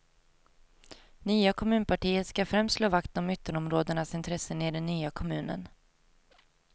Nya kommunpartiet skall främst slå vakt om ytterområdenas intressen i den nya kommunen.